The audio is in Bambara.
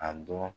A dɔn